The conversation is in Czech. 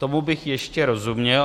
Tomu bych ještě rozuměl.